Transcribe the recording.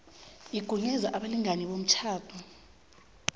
igunyaze abalingani bomtjhado